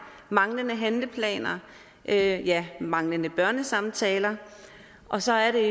manglende handleplaner ja ja manglende børnesamtaler og så er det